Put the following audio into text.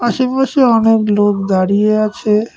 আসেপাশে অনেক লোক দাঁড়িয়ে আছে।